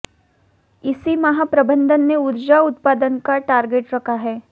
इसी माह प्रबंधन ने ऊर्जा उत्पादन का टारगेट रखा है